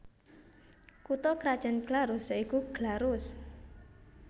Kutha krajan Glarus ya iku Glarus